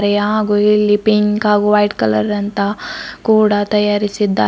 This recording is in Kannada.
ದೇ ಹಾಗು ಇಲ್ಲಿ ಪಿಂಕ ಹಾಗು ವೈಟ್ ಕಲರ್ ಅಂತ ಕೂಡ ತಯಾರಿಸಿದ್ದ--